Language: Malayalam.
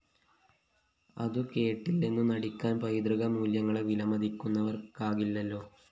അതു കേട്ടില്ലെന്നു നടിക്കാന്‍ പൈതൃക മൂല്യങ്ങളെ വിലമതിക്കുന്നവര്‍ക്കാകില്ലല്ലോ